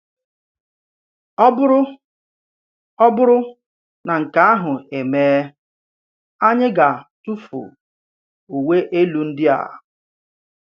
Ọ̀ bụrụ Ọ̀ bụrụ nà nke àhụ̀ emèe, ànyì gà-tụ̀fù ùwè elu ndì à.